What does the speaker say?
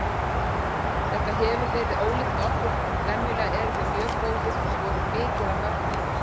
Þetta hefur verið ólíkt okkur, venjulega erum við mjög góðir og skorum mikið af mörkum.